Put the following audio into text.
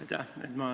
Aitäh!